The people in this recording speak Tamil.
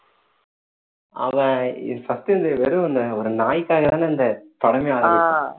அவன் first இந்த வெறும் இந்த ஒரு நாய்க்காக தானே இந்த படமே ஆரம்பிச்சான்